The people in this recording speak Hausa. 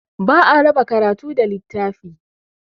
Ba a raba karatu da littafi.